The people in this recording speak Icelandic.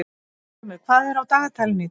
Steingrímur, hvað er á dagatalinu í dag?